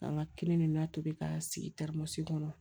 An ka kelen de la tobi ka sigi terimasiri kɔnɔ